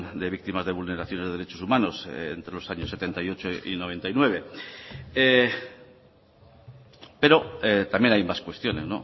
de víctimas de vulneración de derechos humanos entre los años setenta y ocho y noventa y nueve pero también hay más cuestiones